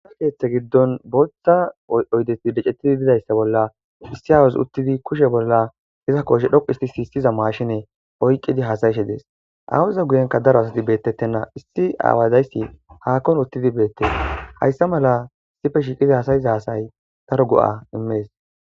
Issi keeththe giddon booththa oydeti decettidi bidayssa bolla issi aawuzi uttidi kushe bolla iza koshe dhoqu isti si issiza maashine oyqqidi hasayishe dees awuza guyenka daro asati beettettenna. Issi aawadayssi haakkon uttidi beette hayssa mala issife shiiqidi hasayiza hasay daro go'a immees.